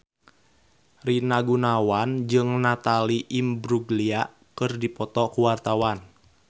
Rina Gunawan jeung Natalie Imbruglia keur dipoto ku wartawan